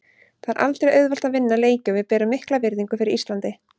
Það er aldrei auðvelt að vinna leiki og við berum mikla virðingu fyrir Íslandi.